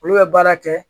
Olu bɛ baara kɛ